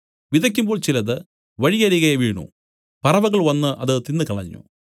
വിതയ്ക്കുമ്പോൾ ചിലത് വഴിയരികെ വീണു പറവകൾ വന്നു അത് തിന്നുകളഞ്ഞു